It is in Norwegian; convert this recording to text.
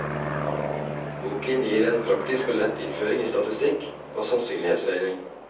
Boken gir en praktisk og lettlest innføring i statistikk og sannsynlighetsregning.